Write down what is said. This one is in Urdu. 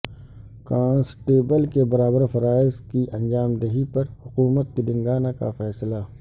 کانسٹیبل کے برابر فرائض کی انجام دہی پر حکومت تلنگانہ کا فیصلہ